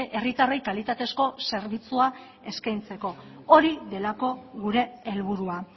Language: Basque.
herritarrei kalitatezko zerbitzua eskaintzeko hori delako gure helburua